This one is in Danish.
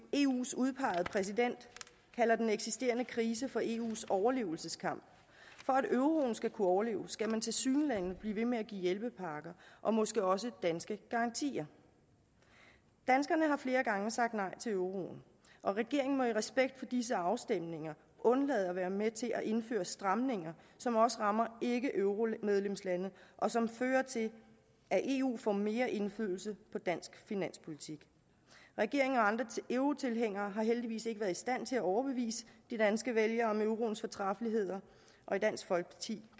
eus udpegede præsident kalder den eksisterende krise for eus overlevelseskamp for at euroen skal kunne overleve skal man tilsyneladende blive ved med at give hjælpepakker og måske også danske garantier danskerne har flere gange sagt nej til euroen og regeringen må i respekt for disse afstemninger undlade at være med til at indføre stramninger som også rammer ikkeeuromedlemslande og som fører til at eu får mere indflydelse på dansk finanspolitik regeringen og andre eurotilhængere har heldigvis ikke været i stand til at overbevise de danske vælgere om euroens fortræffeligheder og i dansk folkeparti